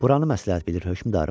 "Buranı məsləhət bilir hökmdarım."